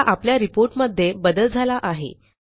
आता आपल्या रिपोर्ट मध्ये बदल झाला आहे